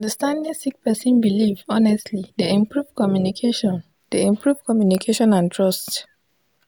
understanding sik person bilif honestly dey improve communication dey improve communication and trust